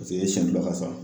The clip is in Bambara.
Paseke e ye seɲɛn ka sa.